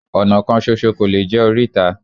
Ọ̀nà kan ṣoṣo kò lè jẹ́ oríta